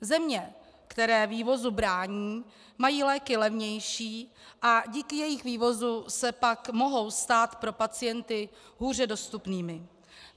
Země, které vývozu brání, mají léky levnější a díky jejich vývozu se pak mohou stát pro pacienty hůře dostupnými.